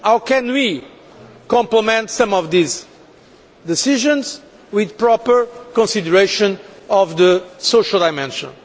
How can we complement some of these decisions with proper consideration of the social dimension?